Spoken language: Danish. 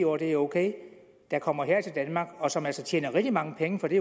år og det er ok der kommer her til danmark og som altså tjener rigtig mange penge for det